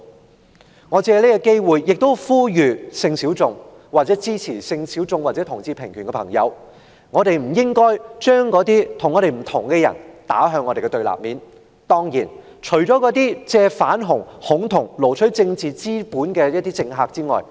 我也想藉此機會呼籲性小眾或支持性小眾或同志平權的朋友不必將那些持不同意見的人士置於我們的對立面，當然，那些借"反同"和"恐同"來撈取政治資本的政客除外。